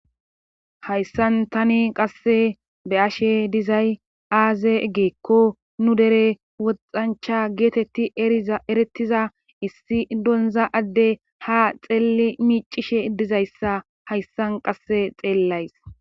Hayssan tani qasse be ashe dizay aaze egeekko nu dere woxancha geetetti eretiza issi donza adde ha xeelli miicishe dizayssa hayssan qasse xeellays